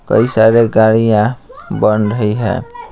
कई सारे गाड़ियाँ बन रही है .